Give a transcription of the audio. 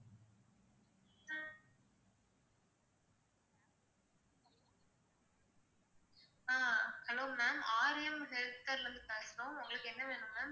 ஆஹ் hello ma'am Aariyam health கேர்ல இருந்து பேசுறோம் உங்களுக்கு என்ன வேணும் ma'am